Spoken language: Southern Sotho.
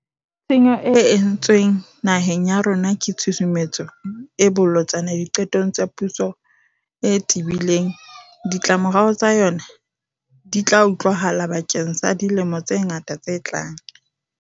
Tshenyo e entswe ng naheng ya rona ke tshusumetso e bolotsana diqetong tsa puso e tebi leng. Ditlamorao tsa yona di tla utlwahala bakeng sa dilemo tse ngata tse tlang.